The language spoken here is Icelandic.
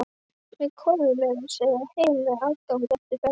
Við komum meira að segja heim með afgang eftir ferðina.